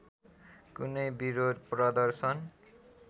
कुनै बिरोध प्रदर्शन